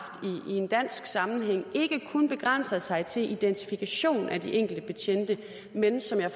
i en dansk sammenhæng ikke kun begrænser sig til identifikation af de enkelte betjente men som jeg